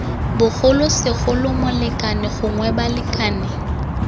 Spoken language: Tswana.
bogolo segolo molekane gongwe balekane